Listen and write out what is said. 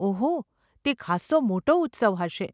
ઓહો, તે ખાસ્સો મોટો ઉત્સવ હશે.